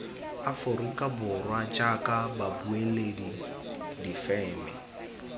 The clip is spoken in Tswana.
aforika borwa jaaka babueledi difeme